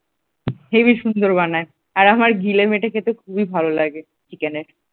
heavy সুন্দর বানায়, আর আমার গিলে মেটে খেতে খুবই ভালো লাগে চিকেনের।